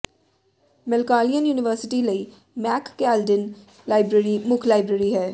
ਮੈਲਕਾਲਿਅਨ university ਲਈ ਮੈਕ ਕੈਲਡਿਨ ਲਾਇਬ੍ਰੇਰੀ ਮੁੱਖ ਲਾਇਬ੍ਰੇਰੀ ਹੈ